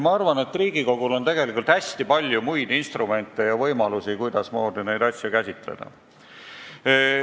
Ma arvan, et Riigikogul on tegelikult hästi palju muid instrumente ja võimalusi, kuidasmoodi neid asju käsitleda.